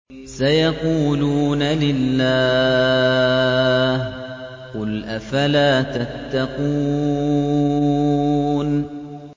سَيَقُولُونَ لِلَّهِ ۚ قُلْ أَفَلَا تَتَّقُونَ